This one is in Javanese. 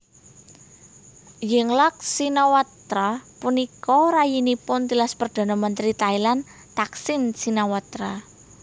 Yingluck Shinawatra punika rayinipun tilas perdhana mentri Thailand Thaksin Shinawatra